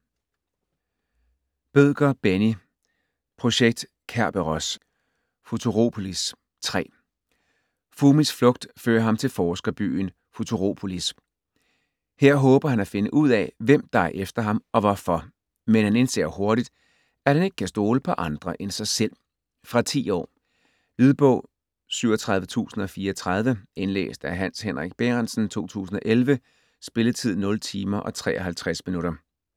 Bødker, Benni: Projekt Kerberos: Futuropolis: 3 Fumis flugt fører ham til forsker-byen Futuropolis. Her håber han at finde ud af, hvem der er efter ham og hvorfor. Men han indser hurtigt, at han ikke kan stole på andre end sig selv. Fra 10 år. Lydbog 37034 Indlæst af Hans Henrik Bærentsen, 2011. Spilletid: 0 timer, 53 minutter.